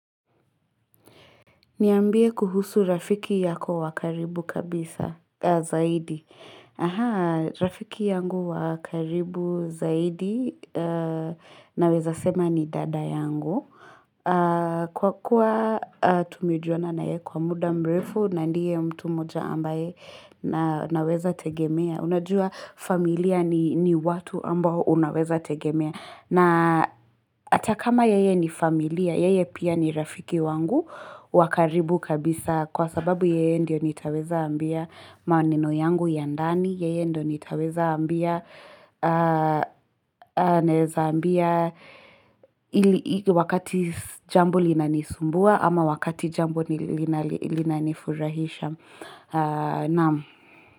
Niambie kuhusu rafiki yako wa karibu kabisa zaidi. Ahaa, rafiki yangu wa karibu zaidi naweza sema ni dada yangu. Kwa kuwa tumejuana na yeye kwa muda mrefu na ndiye mtu mmoja ambaye naweza tegemea. Unajua familia ni watu ambao unaweza tegemea. Na hatakama yeye ni familia, yeye pia ni rafiki wangu wa karibu kabisa kwa sababu yeye ndio nitaweza ambia maneno yangu ya ndani, yeye ndio nitaweza ambia wakati jambo linanisumbua ama wakati jambo linanifurahisha.